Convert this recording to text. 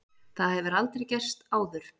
Það hefur aldrei gerst áður.